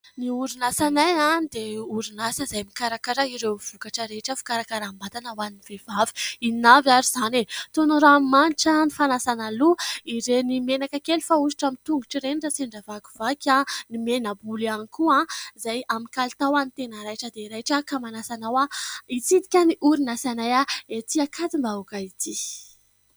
Ny orinasanay dia orinasa izay mikarakara ireo vokatra rehetra fikarakaram- batana ho an'ny vehivavy. Inona avy ary izany ? Toy ny ranomanitra, ny fanasana loha, ireny menaka kely fanosotra amin' ny tongotry ireny raha sendra vakivaky, ny mena- bolo ihany koa izay amin' ny kalitao tena raitra dia raitra. Ka manasa anao ary hitsidika ny orinasanay etỳ Ankadimbahoaka ety !